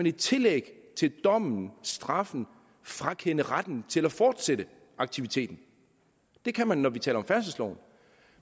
i tillæg til dommen straffen frakende retten til at fortsætte aktiviteten det kan man når vi taler om færdselsloven